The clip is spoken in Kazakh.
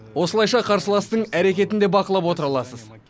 осылайша қарсыластың әрекетін де бақылап отыра аласыз